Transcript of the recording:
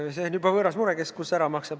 See on juba võõras mure, kes ja kus võla ära maksab.